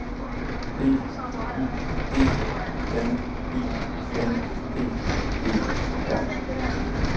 B Y G N I N G E R